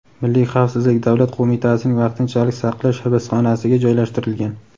Milliy xavfsizlik davlat qo‘mitasining vaqtinchalik saqlash hibsxonasiga joylashtirilgan.